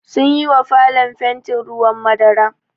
Sunyi wa falon fanti ruwan madara.